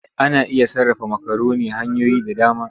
Ana iya sarrafa makaroni hanyoyi da dama.